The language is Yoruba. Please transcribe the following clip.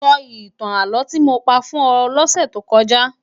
Sò itán álò ti mó pá fún è lòsè tó kòjá